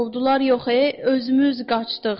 Qovdular yox e, özümüz qaçdıq.